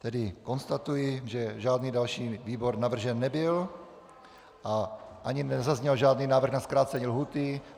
Tedy konstatuji, že žádný další výbor navržen nebyl a ani nezazněl žádný návrh na zkrácení lhůty.